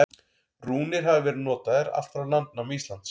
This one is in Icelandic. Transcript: Rúnir hafa verið notaðar allt frá landnámi Íslands.